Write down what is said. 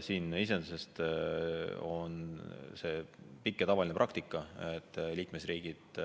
Iseenesest on see pikk ja tavaline praktika, et liikmesriigid